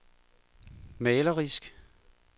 malerisk